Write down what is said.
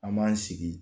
An b'an sigi